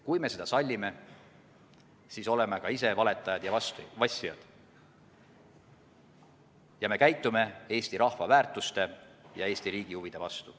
Kui me seda sallime, siis oleme ka ise valetajad ja vassijad ning käitume Eesti rahva väärtuste ja Eesti riigi huvide vastu.